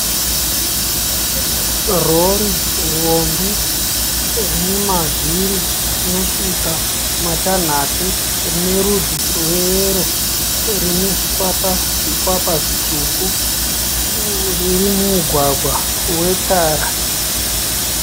Rori hombe rine mavhiri anosvika matanhatu rine rudzi rweyero rine zvikwapa zvikwapa zvitsvuku riri mumugwagwa wetara